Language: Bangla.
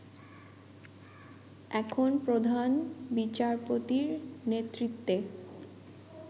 এখন প্রধান বিচারপতির নেতৃত্বে